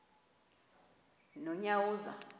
nonyawoza